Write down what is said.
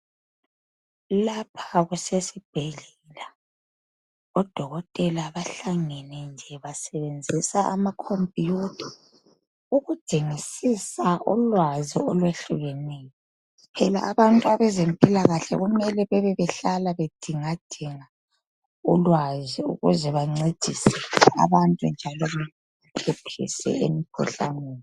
Lapha kusesibhedlela odokotela bahlangene nje basebenzisa amakhompiyutha ukudingisisa ulwazi olwehlukeneyo. Phela abantu bezempilakahle kumele bebehlale bedingadinga ulwazi kuze bancedise abantu njalo bephephisa emkhuhlaneni.